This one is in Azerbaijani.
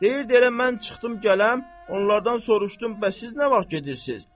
Deyirdi elə mən çıxdım gələm, onlardan soruşdum bəs siz nə vaxt gedirsiz?